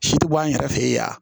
Si ti bɔ an yɛrɛ fɛ yan